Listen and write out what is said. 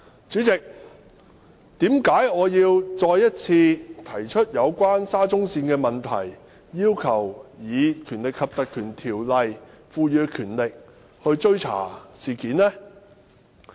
主席，為甚麼我要再次提出有關沙中線的問題，要求根據《條例》賦予的權力來追查事件？